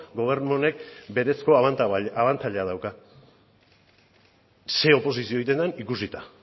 gobernu honek berezko abantaila bat dauka zein oposizio egiten den ikusita